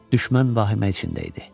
Düşmən vahimə içində idi.